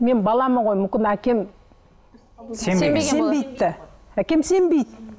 мен баламын ғой мүмкін әкем сенбеген сенбейді де әкем сенбейді